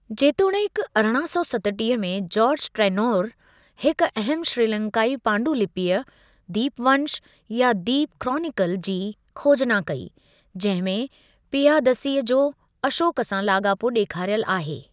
जेतोणीकि, अरिड़हां सौ सतटीह में जॉर्ज टर्नौर हिक अहम श्रीलंकाई पांडुलिपिअ (दीपवंश, या 'द्वीप क्रॉनिकल') जी खोजना कई, जहिं में पियादसीअ जो अशोक सां लाॻापो ॾेखारियल आहे।